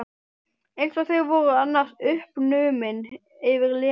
Eins og þau voru annars uppnumin yfir Lenu.